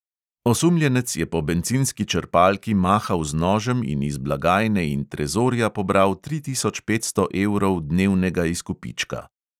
Osumljenec je po bencinski črpalki mahal z nožem in iz blagajne in trezorja pobral tri tisoč petsto evrov dnevnega izkupička.